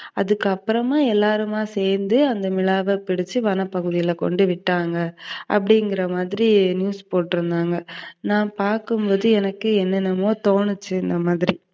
அதுக்கப்பறமா எல்லாருமா சேந்து அந்த மிலாவ பிடிச்சு, வனப்பகுதியில கொண்டு விட்டாங்க அப்டிங்கிறமாதிரி news போட்ருந்தாங்க. நான் பாக்கும்போது எனக்கு என்னென்னமோ தோணுச்சு வேறமாதிரி